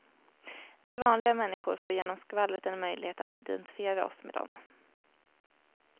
Vi vanliga människor får genom skvallret en möjlighet att identifiera oss med dem.